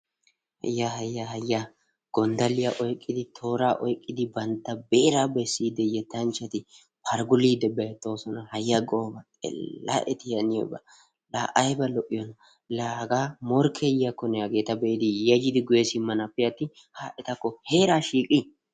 hayya! hayya! hayya! gonddalliya oyqqidi, toora oyqqidi, bantta beera bessiiddi yettanchchati pargguliiddi beettoosona, haya! xeella eti haniyooba, aybba lo''iyoona. la hagaa eta morkke yiyyakkone hageeta be'idi yayyidi guyye simmanappe atin ha etakko heera shiiqqi!